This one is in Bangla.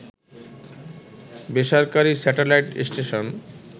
বেসরকারি স্যাটেলাইট স্টেশন